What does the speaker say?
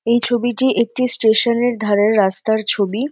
এই ছবিটি একটি স্টেশন -এর ধারের রাস্তার ছবি।